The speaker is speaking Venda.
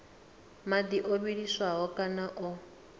madi o vhiliswaho kana o